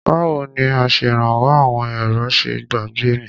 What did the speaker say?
Báwo ni Aṣèrànwọ́ àwọn èrò ṣe gbàgbé mi?